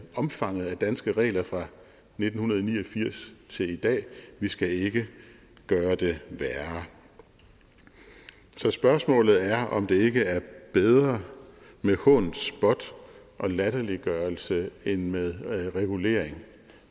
omfanget af danske regler fra nitten ni og firs til i dag vi skal ikke gøre det værre så spørgsmålet er om det ikke er bedre med hån spot og latterliggørelse end med regulering